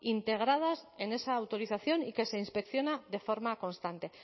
integradas en esa autorización y que se inspecciona de forma constante